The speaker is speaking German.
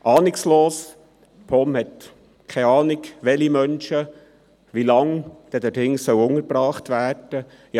Ahnungslos: Die POM hat keine Ahnung welche Menschen, für wie lange dort hinten untergebracht werden sollen.